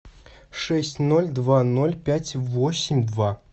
шесть ноль два ноль пять восемь два